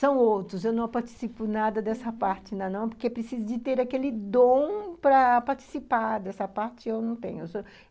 São outros, eu não participo nada dessa parte ainda não, porque é preciso de ter aquele dom para participar dessa parte e eu não tenho.